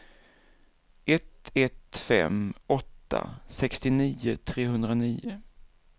ett ett fem åtta sextionio trehundranio